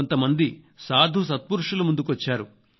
కొంత మంది సాధు సత్పురుషులు ముందుకొచ్చారు